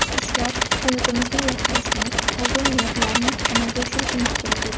Ishlab, hayotimizni yaxshilashimiz, orzu-niyatlarni amalga oshirishimiz kerak edi.